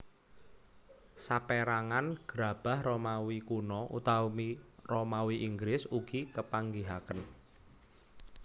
Sapérangan gerabah Romawi Kuno utawi Romawi Inggris ugi kepanggihaken